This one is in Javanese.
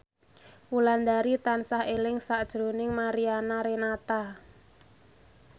Wulandari tansah eling sakjroning Mariana Renata